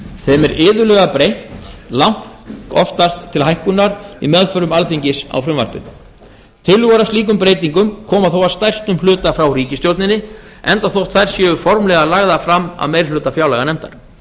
þeim er iðulega breytt langoftast til hækkunar í meðförum alþingis í frumvarpinu tillögur að slíkum breytingum koma þó að stærstum hluta frá ríkisstjórninni enda þótt þær séu formlega lagðar fram af meirihluta fjárlaganefndar